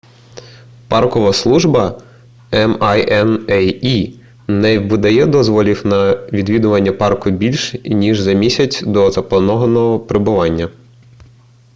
паркова служба minae не видає дозволів на відвідування парку більш ніж за місяць до запланованого прибуття